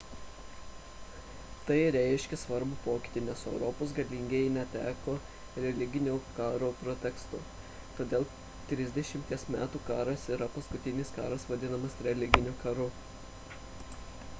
tai reiškė svarbų pokytį nes europos galingieji neteko religinių karų preteksto todėl trisdešimties metų karas yra paskutinis karas vadinamas religiniu karu